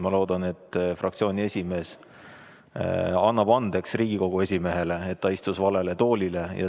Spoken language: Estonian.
Ma loodan, et fraktsiooni esimees annab Riigikogu esimehele andeks, et ta istus valele toolile.